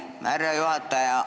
Aitäh, härra juhataja!